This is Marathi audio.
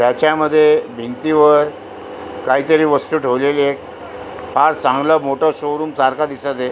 त्याच्या मध्ये भिंतीवर कायतरी वस्तू ठेवलेली आहे फार चांगल मोठ शोरुम सारख दिसत आहे.